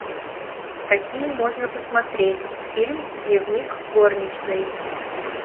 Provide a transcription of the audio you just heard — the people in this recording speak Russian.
какие можно посмотреть фильм дневник горничной